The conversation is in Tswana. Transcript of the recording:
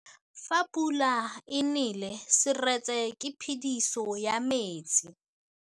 Fa pula e nelê serêtsê ke phêdisô ya metsi.